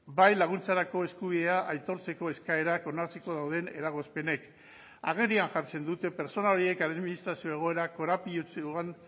bai laguntzarako eskubidea aitortzeko eskaerak onartzeko dauden eragozpenek agerian jartzen dute pertsona horiek administrazio egoera korapilatsuan